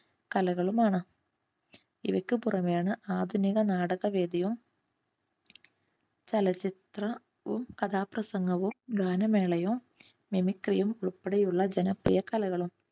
കലകളും ആണ്. ഇവയ്ക്കു പുറമെയാണ് ആധുനിക നാടക വേദിയും ചലച്ചിത്രവും കഥാപ്രസംഗവും ഗാനമേളയും മിമിക്രിയും ഉൾപ്പെടെയുള്ള ജനപ്രിയ കലകളും